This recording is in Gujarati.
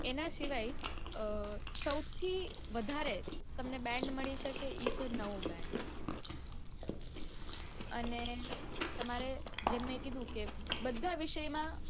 એના સિવાય band મળી શકે ઈ છે નૌ band અને તમારે જમ મેં કીધું કે બધા વિષયમાં